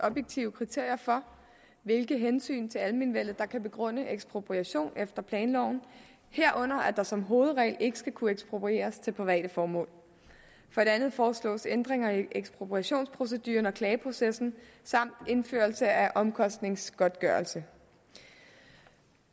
objektive kriterier for hvilke hensyn til almenvellet der kan begrunde ekspropriation efter planloven herunder at der som hovedregel ikke skal kunne eksproprieres til private formål for det andet foreslås ændringer af ekspropriationsproceduren og klageprocessen samt indførelse af omkostningsgodtgørelse